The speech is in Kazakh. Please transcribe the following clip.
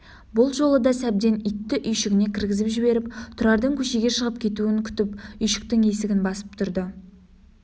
бұл жолы да сәбден итті үйшігіне кіргізіп жіберіп тұрардың көшеге шығып кетуін күтіп үйшіктің есігін басып тұрды